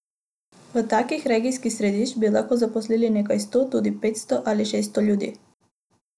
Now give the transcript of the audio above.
V takih regijskih središčih bi lahko zaposlili nekaj sto, tudi petsto ali šeststo ljudi.